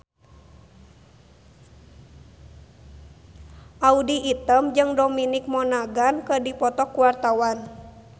Audy Item jeung Dominic Monaghan keur dipoto ku wartawan